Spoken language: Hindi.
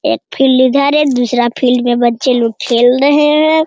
एक फील्ड इधर है दूसरा फील्ड में बच्चे लोग खेल रहे हैं ।